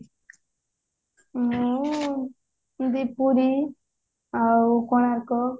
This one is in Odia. ମୁଁ ପୁରୀ ଆଉ କୋଣାର୍କ